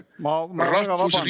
Ma väga vabandan!